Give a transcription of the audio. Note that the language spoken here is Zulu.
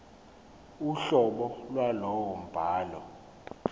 uhlobo lwalowo mbhalo